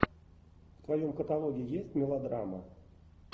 в твоем каталоге есть мелодрама